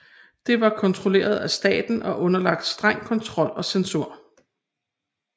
Det var kontrolleret af staten og underlagt streng kontrol og censur